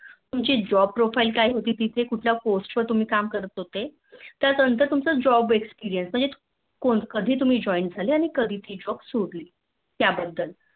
तुमची Job profile काय होती तिचे कोणत्या Post वॉर तुम्ही काम करत होते त्यानंजत तुमचा Job Experience म्हणजे तुम्ही कधी Join झाले आणि कधी ती Job तुम्ही सोडली त्या बद्दल